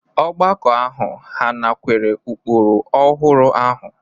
Ọgbakọ ahụ hà nakweere ụkpụrụ ọhụrụ ahụ?